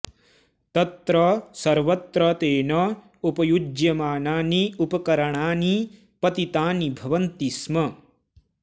तत्र सर्वत्र तेन उपयुज्यमानानि उपकरणानि पतितानि भवन्ति स्म